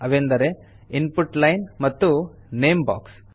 ಅವೆಂದರೆ input line ಮತ್ತು name box